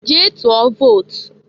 Jee tụọ vot!